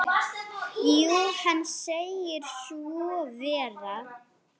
Jú, hann segir svo vera.